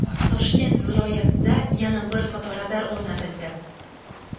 Toshkent viloyatida yana bir fotoradar o‘rnatildi.